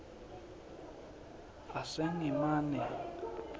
asengimane